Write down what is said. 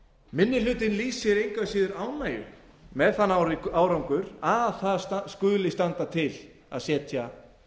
minni hlutinn lýsir ánægju með þann árangur að það skuli standa til að setja